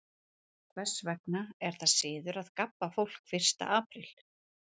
Hvers vegna er það siður að gabba fólk fyrsta apríl?